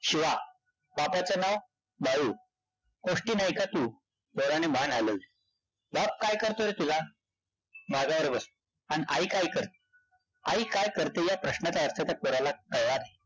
शिवा. बापाचं नाव? बाळू. कोष्टी नाई का तू? पोराने मान हलवली. बाप काय करतो रे तुझा? माजावर बसतो. अन आई काय करते? आई काय करते या प्रश्नाचा अर्थ त्या पोराला कळलंच नाई.